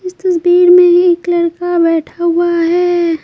इस तस्वीर में एक लड़का बैठा हुआ है।